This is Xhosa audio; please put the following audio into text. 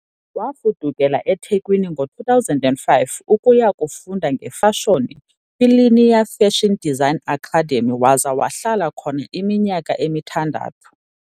Wafudukela eThekwini ngo-2005 ukuya kufunda ngefashoni kwiLinea Fashion Design Academy waze wahlala khona iminyaka emithandathu.